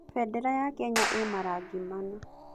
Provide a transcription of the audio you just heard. Bendera ya Kenya ĩĩ marangi mana.